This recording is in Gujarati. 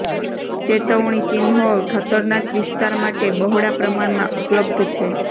ચેતવણી ચિહ્નો ખતરનાક વિસ્તાર માટે બહોળા પ્રમાણમાં ઉપલબ્ધ છે